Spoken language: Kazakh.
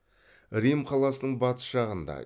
рим қаласының батыс жағында